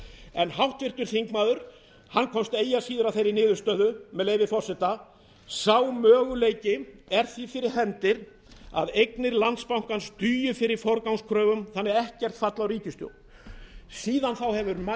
en háttvirtur þingmaður komst eigi að síður að þeirri niðurstöðu með leyfi forseta sá möguleiki er því fyrir hendi að eignir landsbankans dugi fyrir forgangskröfum þannig að ekkert falli á ríkissjóð síðan þá hefur